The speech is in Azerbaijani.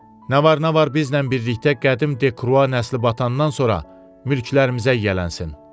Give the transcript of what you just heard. Nə var, nə var, bizimlə birlikdə qədim Dekrua nəsli batandan sonra mülklərimizə yiyələnsin.